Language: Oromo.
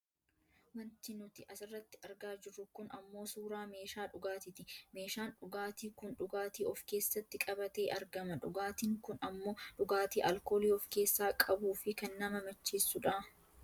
wanti nuti asirratti argaa jirru kun ammoo suuraaa meeshaa dhugaatiiti. meeshaan dhugaatii kun dhugaatii of keessatti qabatee argama . dhugaatiin kun ammoo dhugaatii aalkoolii of keessaa qabuufi kan nama macheessudha.